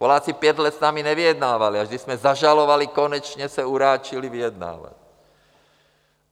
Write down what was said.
Poláci pět let s námi nevyjednávali, až když jsme zažalovali, konečně se uráčili vyjednávat.